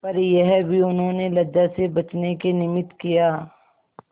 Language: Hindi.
पर यह भी उन्होंने लज्जा से बचने के निमित्त किया